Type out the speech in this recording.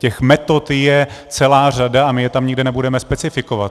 Těch metod je celá řada a my je tam nikde nebudeme specifikovat.